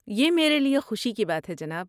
یہ میرے لیے خوشی کی بات ہے، جناب۔